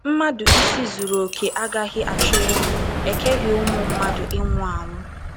Mmadụ isi zuru okè agaghị achọ ịnwụ; e keghị ụmụ mmadụ ịnwụ anwụ.